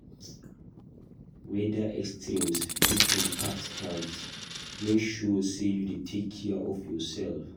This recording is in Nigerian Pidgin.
Weather extremes fit impact health; make sure say you dey take care of yourself.